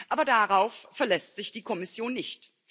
Aber darauf verlässt sich die Kommission nicht.